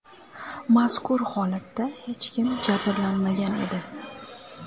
Mazkur holatda hech kim jabrlanmagan edi.